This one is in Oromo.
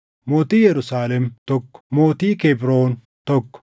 mootii Yerusaalem, tokko mootii Kebroon, tokko